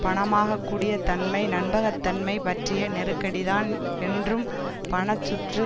பணமாக்கக்கூடியதன்மை நம்பகத்தன்மை பற்றிய நெருக்கடிதான் என்றும் பண சுற்று